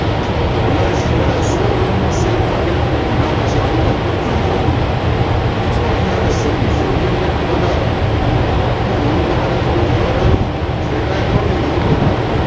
Reliance સો કરોડ ના share market માં થી છે આવું તોહ કેટલુંક થતું હોય તો અહીંયા આવે SEBISEBI એટલે ખબેરદાર બધુ લૂટવા માં જે કયી કરું